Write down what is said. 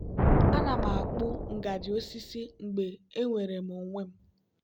ana m akpụ ngaji osisi mgbe enwere m onwe m.